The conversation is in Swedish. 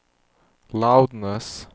loudness